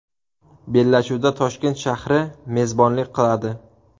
Bellashuvga Toshkent shahri mezbonlik qiladi.